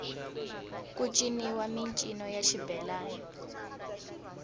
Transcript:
ku ciniwa mincino ya xibelani